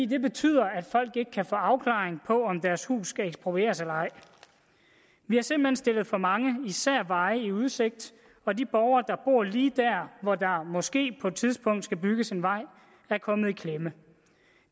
det betyder at folk ikke kan få afklaring af om deres hus skal eksproprieres eller ej vi har simpelt hen stillet for mange især veje i udsigt og de borgere der bor lige der hvor der måske på et tidspunkt skal bygges en vej er kommet i klemme